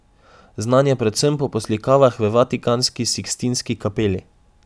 Znan je predvsem po poslikavah v vatikanski Sikstinski kapeli.